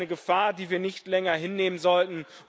Das ist eine Gefahr, die wir nicht länger hinnehmen sollten.